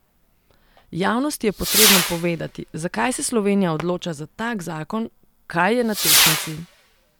Javnosti je potrebno povedati, zakaj se Slovenija odloča za tak zakon, kaj je na tehtnici.